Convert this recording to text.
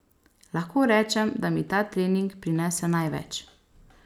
Lahko rečem da mi ta trening prinese največ.